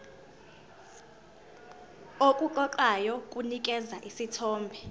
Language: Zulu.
okuqoqayo kunikeza isithombe